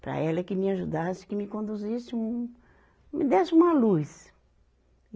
para ela que me ajudasse, que me conduzisse, um, me desse uma luz.